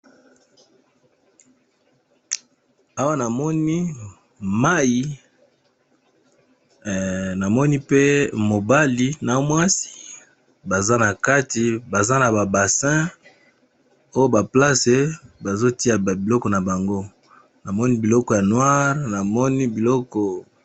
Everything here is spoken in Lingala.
Awa namoni mai, namoni pe mobali na mwasi baza na kati baza na babasin oyo baplace bazotia ba biloko na bango, namoni biloko ya noire namoni biloko.